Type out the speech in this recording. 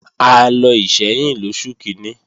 A lọ Ìṣẹ́yìn lóṣù kíní